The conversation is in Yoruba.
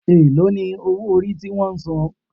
Èló ni owó orí ti wón san?